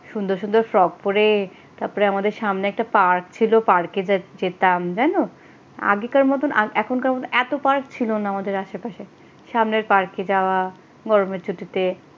সুন্দর সুন্দর ফ্রক করে তারপরে আমাদের সামনে একটা পার্ক ছিল পার্কে যেতাম জানো? আগেকার মতন এখনকার মতন এত পার্ক ছিল না আমাদের আশেপাশে সামনের পার্কে যাওয়া গরমের ছুটিতেই।